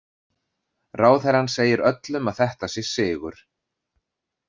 Ráðherrann segir öllum að þetta sé sigur.